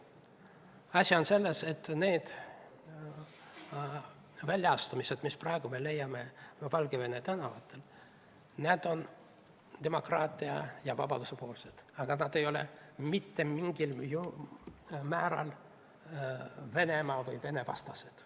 Asi on selles, et need väljaastumised, mida me praegu Valgevene tänavatel näeme, on demokraatia ja vabaduse poolt ega ole mitte mingilgi määral Venemaa- või venevastased.